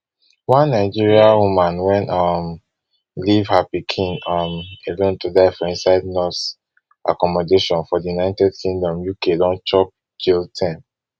one nigerian woman wey um leave her pikin um alone to die for inside nurse accommodation for di united kingdom uk don chop jail term